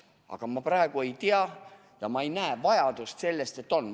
Aga ma praegu ei tea seda ja ma ei näe vajadust selleks, et oleks.